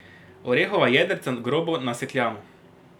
Orehova jedrca grobo nasekljamo.